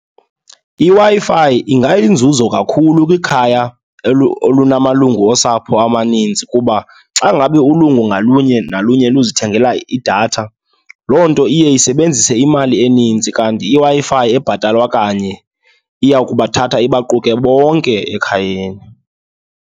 IWi-Fi ingayinzuzo kakhulu kwikhaya olunamalungu osapho amaninzi kuba xa ngabe ulungu ngalunye nalunye luzithengela idatha, loo nto iye isebenzise imali eninzi. Kanti iWi-Fi ebhatalwa kanye iya kubathatha ibaquke bonke ekhayeni.